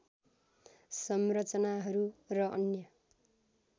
संरचनाहरू र अन्य